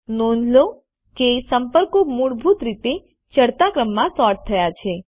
નોંધ લો કે સંપર્કો મૂળભૂત રીતે ચડતા ક્રમમાં સૉર્ટ થયા છે